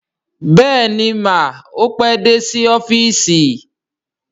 Bẹ́ẹ̀ni mà, ó pé dé sí ọ́fíìsì